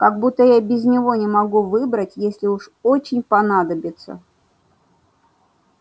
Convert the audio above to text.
как будто я без него не могу выбрать если уж очень понадобится